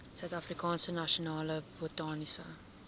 suidafrikaanse nasionale botaniese